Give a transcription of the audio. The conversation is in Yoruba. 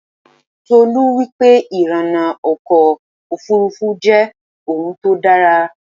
Tolú wípé ìrìnnà ọkọ̀ Òfurufú jẹ́ òun tó dára.